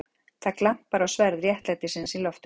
Það glampar á sverð réttlætisins í loftinu.